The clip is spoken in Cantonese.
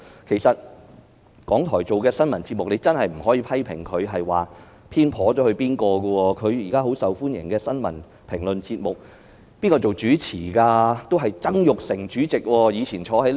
其實，港台播放的新聞節目，真的不能批評它有所偏頗，現在十分受歡迎的新聞評論節目，是由誰擔任主持的呢？